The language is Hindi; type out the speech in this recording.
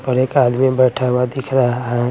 पर एक आदमी बैठा हुआ दिख रहा है।